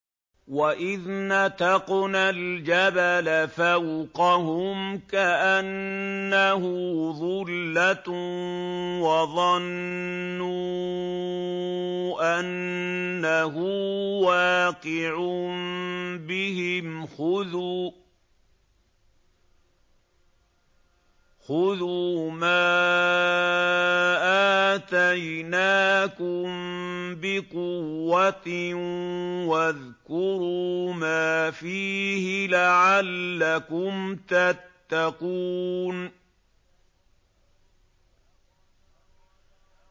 ۞ وَإِذْ نَتَقْنَا الْجَبَلَ فَوْقَهُمْ كَأَنَّهُ ظُلَّةٌ وَظَنُّوا أَنَّهُ وَاقِعٌ بِهِمْ خُذُوا مَا آتَيْنَاكُم بِقُوَّةٍ وَاذْكُرُوا مَا فِيهِ لَعَلَّكُمْ تَتَّقُونَ